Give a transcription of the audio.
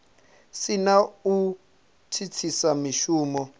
si na u thithisa mushumo